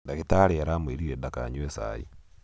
ndagĩtarĩ aramwĩrire dakanyue cai